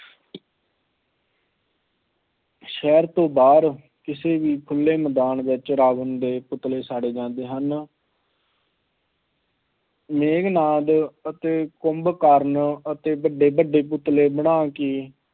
ਸ਼ਹਿਰ ਤੋਂ ਬਾਹਰ ਕਿਸੇ ਵੀ ਖੁੱਲ੍ਹੇ ਮੈਦਾਨ ਵਿੱਚ ਰਾਵਣ ਦੇ ਪੁਤਲੇ ਸਾੜੇ ਜਾਂਦੇ ਹਨ ਮੇਘਨਾਥ ਅਤੇ ਕੁੰਭਕਰਨ ਅਤੇ ਵੱਡੇ ਵੱਡੇ ਪੁਤਲੇ ਬਣਾ ਕੇ